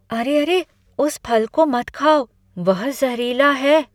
अरे अरे, उस फल को मत खाओ। वह जहरीला है।